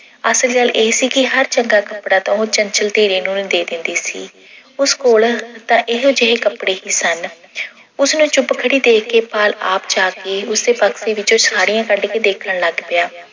ਅਸਲ ਗੱਲ ਇਹ ਸੀ ਕਿ ਹਰ ਚੰਗਾ ਕੱਪੜਾ ਤਾਂ ਉਹ ਚੰਚਲ ਤੇ ਰੇਨੂੰ ਨੂੰ ਦੇ ਦਿੰਦੀ ਸੀ। ਉਸ ਕੋਲ ਤਾਂ ਇਹੋ-ਜਿਹੇ ਕੱਪੜੇ ਹੀ ਸਨ। ਉਸਨੂੰ ਚੁੱਪ ਖੜੀ ਦੇਖ ਕੇ ਪਾਲ ਆਪ ਜਾ ਕੇ ਉਸਤੇ ਟਰੰਕ ਦੇ ਵਿੱਚੋਂ ਸਾੜੀਆਂ ਕੱਢ ਕੇ ਵੇਖਣ ਲੱਗ ਪਿਆ।